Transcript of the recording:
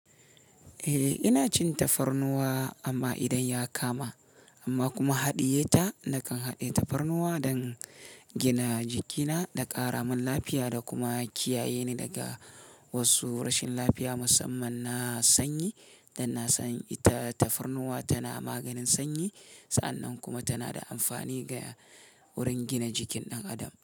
Eh, ina cin tafarnuwa amma idan ya kama, amma kuma haɗiye ta nakan haɗe tafarnuwa don gina jikina da ƙaramin lafiya da kuma kiyaye ni daga wasu rashin lafiya musamman na sanyi, don na san ita tafarnuwa tana maganin sanyi. Sa'an nan kuma tana da amfani ga wurin gina jikin ɗan adam.